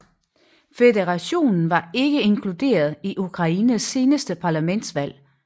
Føderationen var ikke inkluderet i Ukraines seneste parlamentsvalg